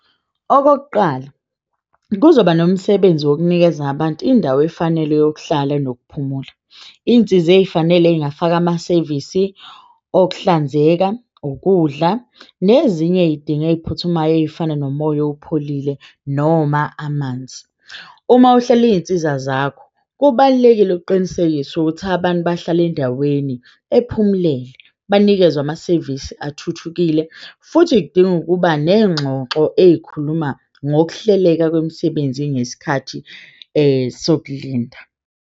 Okokuqala kuzoba nomsebenzi wokunikeza abantu indawo efanele yokuhlala nokuphumula. Iyinsiza eyifanele eyingafaka amasevisi okuhlanzeka, ukudla nezinye iyidingo eyiphuthumayo eyifana nomoya opholile noma amanzi. Uma uhlela iyinsiza zakho kubalulekile ukuqinisekisa ukuthi abantu bahlale endaweni ephumulelwe banikezwe amasevisi athuthukile futhi kudinga ukuba neyingxoxo eyikhuluma ngokuhleleka kwemisebenzi ngesikhathi sokulinda.